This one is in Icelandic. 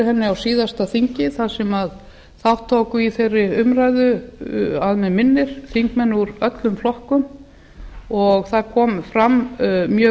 henni á síðasta þingi þar sem þátt tóku í þeirri umræðu að mig minnir þingmenn úr öllum flokkum og það kom fram mjög